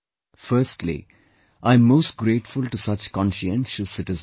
Firstly, I am most grateful to such conscientious citizens